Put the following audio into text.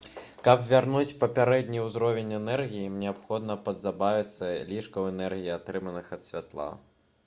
каб вярнуць папярэдні ўзровень энергіі ім неабходна пазбавіцца лішкаў энергіі атрыманых ад святла